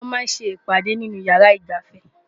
wọ́n máa ń́ ṣe ìpàdè nínú ìyàrá ìgbafẹ́